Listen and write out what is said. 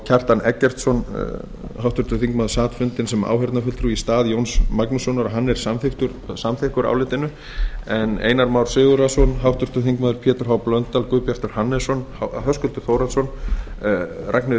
kjartan eggertsson háttvirtur sat fundinn sem áheyrnarfulltrúi í stað jóns magnússonar og hann samþykkur álitinu háttvirtir þingmenn einar már sigurðarson pétur h blöndal guðbjartur hannesson höskuldur þórhallsson ragnheiður